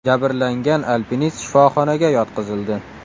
Jabrlangan alpinist shifoxonaga yotqizildi.